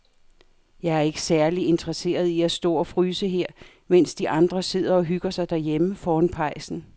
Jeg er ikke særlig interesseret i at stå og fryse her, mens de andre sidder og hygger sig derhjemme foran pejsen.